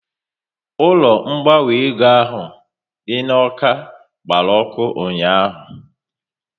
Ụlọ ngbanwe ego ahụ dị n'Awka gbara ọkụ ụnyaahụ